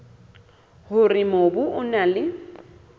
hore mobu o na le